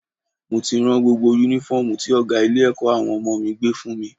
Mo ti rán gbogbo Únífọ́ọ̀mù tí ọ̀gá ilé-ẹ̀kọ́ àwọn ọmọ mi gbé fún mi